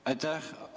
Aitäh!